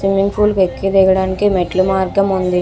Swimming pool ఎక్కి దిగడానికి మెట్లు మార్గం ఉంది.